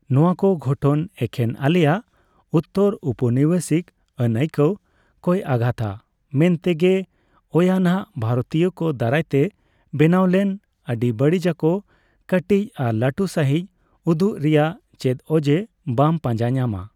ᱱᱚᱣᱟᱠᱚ ᱜᱷᱚᱴᱚᱱ ᱮᱠᱷᱮᱱ ᱟᱞᱮᱭᱟᱜ ᱩᱛᱛᱚᱨᱳᱯᱚᱱᱤᱵᱮᱥᱤᱠ ᱟᱹᱱᱟᱹᱠᱟᱹᱣ ᱠᱚᱭ ᱟᱜᱷᱟᱛᱟ ᱢᱮᱱᱛᱮᱜᱮ ᱳᱭᱟᱜᱱᱟᱜ ᱵᱷᱟᱨᱚᱛᱤᱭᱚ ᱠᱚ ᱫᱟᱨᱟᱭᱛᱮ ᱵᱮᱱᱟᱣ ᱞᱮᱱ ᱟᱹᱰᱤᱵᱟᱹᱲᱤᱡᱟᱠᱚ ᱠᱟᱹᱴᱤᱡ ᱟᱨ ᱞᱟᱴᱩ ᱥᱟᱸᱦᱤᱡ ᱩᱫᱩᱜ ᱨᱮᱭᱟᱜ ᱪᱮᱫ ᱚᱡᱮᱸ ᱵᱟᱢ ᱯᱟᱸᱡᱟ ᱧᱟᱢᱟ ᱾